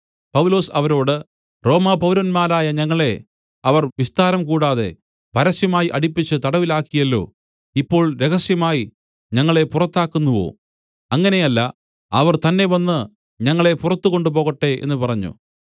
പൗലൊസ് അവരോട് റോമാപൗരന്മാരായ ഞങ്ങളെ അവർ വിസ്താരം കൂടാതെ പരസ്യമായി അടിപ്പിച്ച് തടവിലാക്കിയല്ലോ ഇപ്പോൾ രഹസ്യമായി ഞങ്ങളെ പുറത്താക്കുന്നുവോ അങ്ങനെ അല്ല അവർ തന്നെ വന്ന് ഞങ്ങളെ പുറത്തുകൊണ്ടുപോകട്ടെ എന്നു പറഞ്ഞു